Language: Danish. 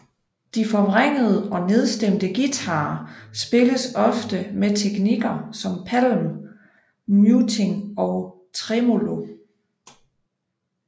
De forvrængede og nedstemte guitarer spilles ofte med teknikker som palm muting og tremolo